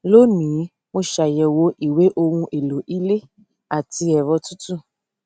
lónìí mo ṣàyẹwò ìwé ohun èlò ilé àti ẹrọ tútù